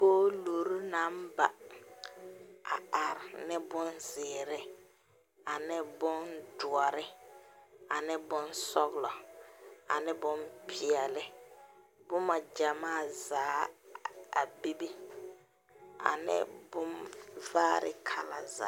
Polori naŋ ba are ne bonzeere ane bondoɔre ane bonsɔglo ane bonpeɛle boma gyamaa zaa a bebe ane bonvaare kalazaa.